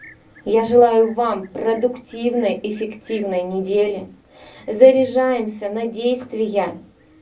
я желаю вам продуктивной эффективной недели заряжаемся на действия